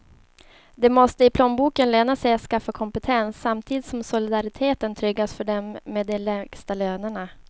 Det måste i plånboken löna sig att skaffa kompetens, samtidigt som solidariteten tryggas för dem med de lägsta lönerna.